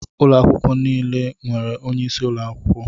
Ụlọ akwụkwọ niile e nwere onyeisi ụlọ akwụkwọ